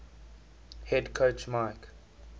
head coach mike